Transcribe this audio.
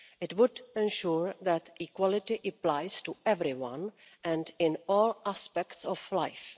It would ensure that equality applies to everyone and in all aspects of life.